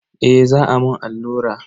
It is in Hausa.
Eh za a mun allura.